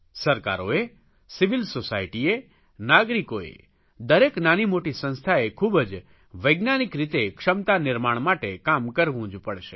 સરકારોએ સિવિલ સોસાયટીએ નાગરિકોએ દરેક નાની મોટી સંસ્થાએ ખૂબ જ વૈજ્ઞાનિક રીતે ક્ષમતા નિર્માણ માટે કામ કરવું જ પડશે